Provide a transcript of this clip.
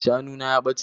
Shanu na ya ɓace.